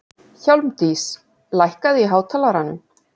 Hjálmdís, lækkaðu í hátalaranum.